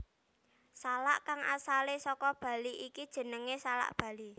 Salak kang asalé saka Bali iki jenengé salak Bali